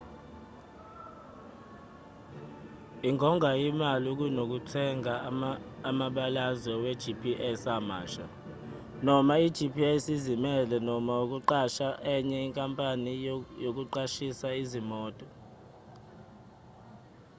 ingonga imali kunokuthenga amabalazwe we-gps amasha noma i-gps ezimele noma ukuqasha enye enkampanini yokuqashisa izimoto